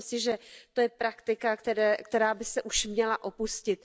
Myslím si, že to je praktika, která by se už měla opustit.